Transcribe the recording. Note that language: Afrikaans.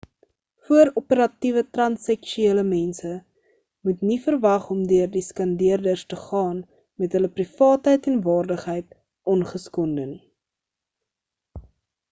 voor-operatiewe transseksuele mense moet nie verwag om deur die skandeerders te gaan met hulle privaatheid en waardigheid ongeskonde nie